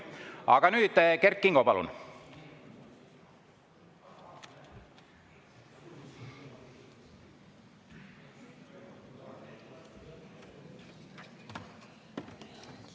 Aga nüüd, Kert Kingo, palun!